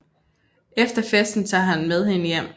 Efter festen tager han med hende hjem